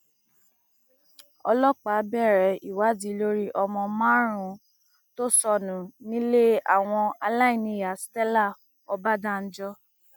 ọlọpàá bẹrẹ ìwádìí lórí ọmọ márùnún tó sọnù nílé àwọn aláìníyàá stella ọbadànjọ